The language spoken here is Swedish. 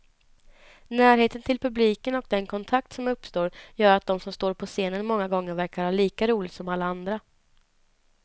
Närheten till publiken och den kontakt som uppstår gör att de som står på scenen många gånger verkar ha lika roligt som alla andra.